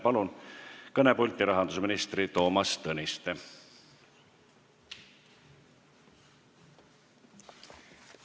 Palun kõnepulti, rahandusminister Toomas Tõniste!